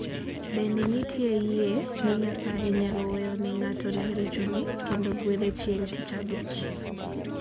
Bende nitie yie ni Nyasaye nyalo weyo ne ng'ato richone kendo gwedhe chieng' Tich Abich.